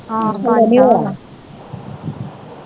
ਹਲੇ ਨਹੀਂ ਹੋਇਆ।